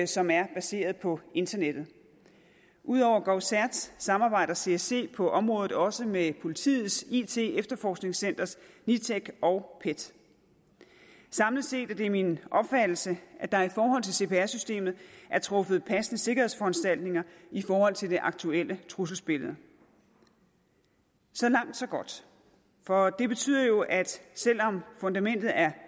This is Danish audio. som er baseret på internettet ud over govcert samarbejder csc på området også med politiets it efterforskningscenter nitec og pet samlet set er det min opfattelse at der i forhold til cpr systemet er truffet passende sikkerhedsforanstaltninger i forhold til det aktuelle trusselsbillede så langt så godt for det betyder jo at selv om fundamentet er